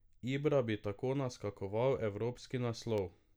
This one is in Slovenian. Ibra bi tako naskakoval evropski naslov.